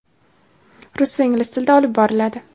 rus va ingliz tilida olib boriladi.